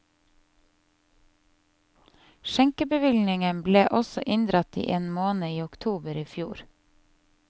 Skjenkebevillingen ble også inndratt i én måned i oktober i fjor.